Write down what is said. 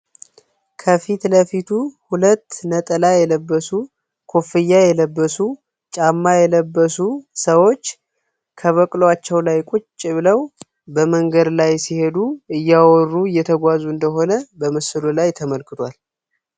ከፊት ለፊቱ ሁለት ነጠላ የለበሱ ኮፍያ የለበሱ ጫማ የለበሱ ሰዎች ከበቅሏቸው ላይ ቁጭ ብለው በመንገድ ላይ ሲሄዱ እያወሩ እየተጓዙ እንደሆነ በምስሉ ላይ ተመልክዷል